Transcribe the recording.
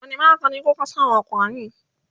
wani maganin kuka sa wa ƙwarin?